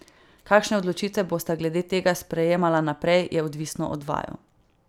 Kakšne odločitve bosta glede tega sprejemala naprej, je odvisno od vaju.